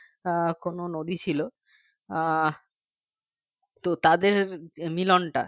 আহ কোন যদি ছিল আহ তো তাদের মিলন টা